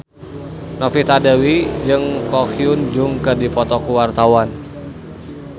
Novita Dewi jeung Ko Hyun Jung keur dipoto ku wartawan